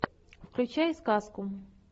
включай сказку